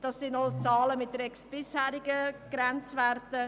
Das sind auch Zahlen mit bisherigen Grenzwerten.